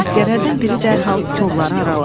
Əsgərlərdən biri dərhal kolları araladı.